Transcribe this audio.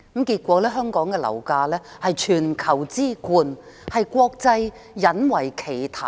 結果，香港的樓價居全球之冠，國際引為奇談。